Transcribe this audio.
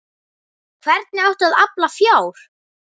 Hvernig átti að afla fjár?